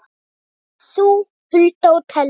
Ég, þú, Hulda og Telma.